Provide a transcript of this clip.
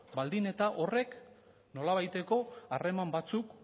baldin eta horrek nolabaiteko harreman batzuk